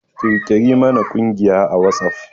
Ƙirƙiri mana ƙungiya a WhatsApp!